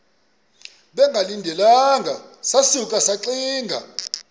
bengalindelanga sasuka saxinga